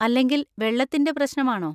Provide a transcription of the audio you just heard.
അല്ലെങ്കിൽ വെള്ളത്തിൻ്റെ പ്രശ്നം ആണോ?